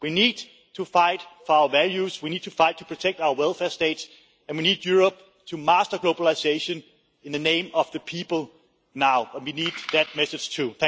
We need to fight for our values, we need to fight to protect our welfare state, and we need Europe to master globalisation in the name of the people now, and we need that message too.